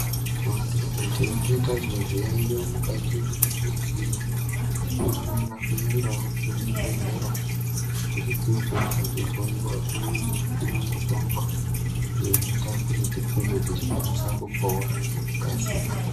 Vantu kana tichinge tazwe zviyaiyo mukati mwenyama dzedu. Tinofanira kuendavo kuzvibhedhlera kuti tinokwanisa kuhloiwa pamwe nekupiva mutombo. Iyo inoita kuti tinge tichikasira kupora ngekukasira.